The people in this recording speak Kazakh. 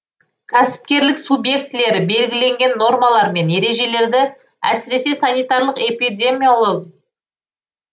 кәсіпкерлік субъектілері белгіленген нормалар мен ережелерді әсіресе санитарлық эпидемиялог